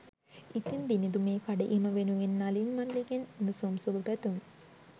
ඉතිං දිනිඳු මේ කඩඉම වෙනුවෙන් නලින් මල්ලිගෙන් උණුසුම් සුභ පැතුම්